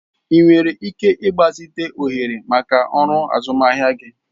Ị nwere ike ịgbazite ohere maka ọrụ azụmahịa gị.